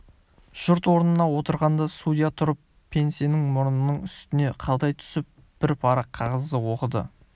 жұрт орнына отырғанда судья тұрып пенснесін мұрнының үстіне қадай түсіп бір парақ қағазды оқыды